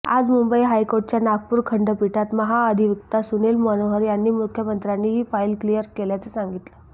आज मुंबई हायकोर्टाच्या नागपूर खंडपीठात महाअधिवक्ता सुनील मनोहर यांनी मुख्यमंत्र्यांनी ही फाईल क्लिअर केल्याचं सांगितलं